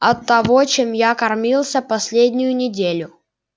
от того чем я кормился последнюю неделю